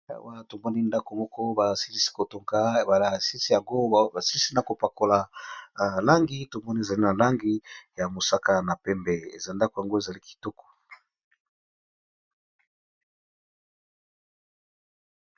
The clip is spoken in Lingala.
Wana tomoni ndako moko basilisi ko tonga bala basilisi yango basilisi na ko pakola langi tomoni ezali na langi ya mosaka na pembe eza ndako yango ezali kitoko.